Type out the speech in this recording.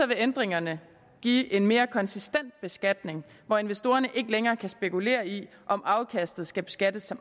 vil ændringerne give en mere konsistent beskatning hvor investorerne ikke længere kan spekulere i om afkastet skal beskattes som